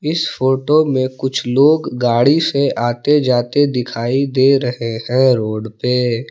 इस फोटो में कुछ लोग गाड़ी से आते जाते दिखाई दे रहे हैं रोड पे।